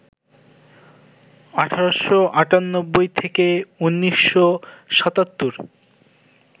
১৮৯৮ - ১৯৭৭